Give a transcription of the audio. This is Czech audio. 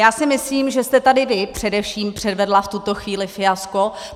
Já si myslím, že jste tady vy především předvedla v tuto chvíli fiasko.